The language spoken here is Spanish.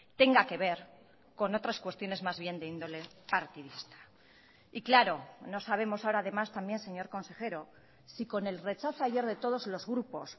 tenga que ver con otras cuestiones más bien de índole partidista y claro no sabemos ahora además también señor consejero si con el rechazo ayer de todos los grupos